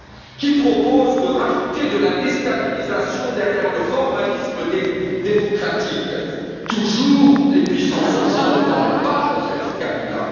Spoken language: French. Qui propose de rajouter de la déstabilisation derrière le formalisme démocratique? Toujours les puissances occidentales, pas Joseph Kabila.